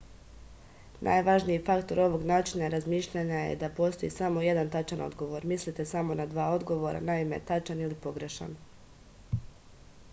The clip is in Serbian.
najvažniji faktor ovog načina razmišljanja je da postoji samo jedan tačan odgovor mislite samo na dva odgovora naime tačan ili pogrešan